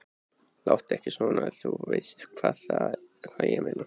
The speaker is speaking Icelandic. Láttu ekki svona. þú veist hvað ég meina.